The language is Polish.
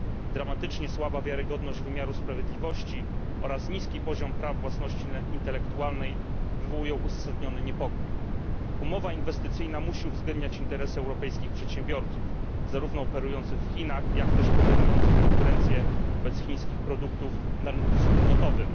Dramatycznie słaba wiarygodność wymiaru sprawiedliwości oraz niski poziom praw własności intelektualnej wywołują uzasadniony niepokój. Umowa inwestycyjna musi uwzględniać interesy europejskich przedsiębiorców, zarówno operujących w Chinach, jak też podejmujących konkurencję wobec chińskich produktów na rynku wspólnotowym.